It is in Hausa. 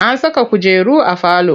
An saka kujeru a falo.